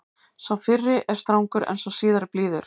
Sá fyrri er strangur en sá síðari blíður.